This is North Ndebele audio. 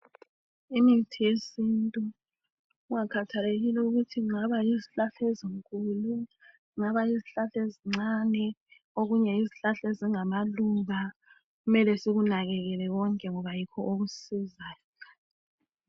Imithi yesintu kungakhathelekile ukuthi kungaba yizihlahla ezinkulu kungaba yizihlahla ezincane okunye yizihlahla ezingamaluba kumele sikunakekele konke ngoba yikho okusisizayo.